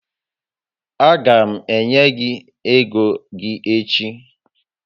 A gam enye gị ego gị echi